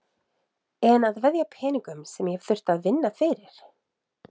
En að veðja peningum sem ég hef þurft að vinna fyrir?